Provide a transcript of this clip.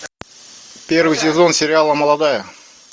первый сезон сериала молодая